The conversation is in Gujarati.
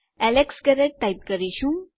એલેક્સ ગેરેટ ટાઈપ કરીશું